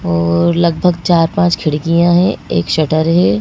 और लगभग चार-पांच खिड़कियां हैं एक शटर है।